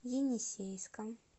енисейском